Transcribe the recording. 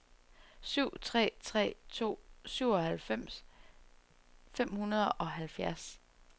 syv tre tre to syvoghalvfems fem hundrede og halvfjerds